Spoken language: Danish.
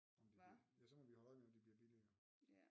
Om de bliver ja så må vi holde øje med om de bliver billigere